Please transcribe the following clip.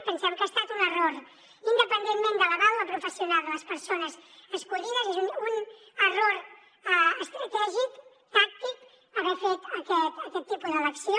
pensem que ha estat un error independentment de la vàlua professional de les persones escollides és un error estratègic tàctic haver fet aquest tipus d’elecció